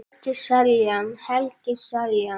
Helgi Seljan